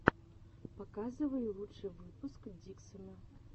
показывай лучший выпуск диксона